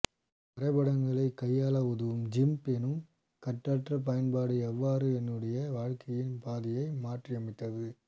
வரைபடங்களை கையாளஉதவும் ஜிம்ப் எனும் கட்டற்ற பயன்பாடு எவ்வாறு என்னுடைய வாழ்க்கையின் பாதையை மாற்றியமைத்தது